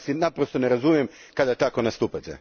Ja vas naprosto ne razumijem kada tako nastupate.